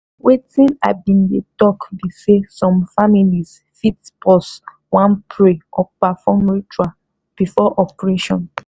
wetin i bin dey talk be saysome families fit pause wan pray or perform ritual before operation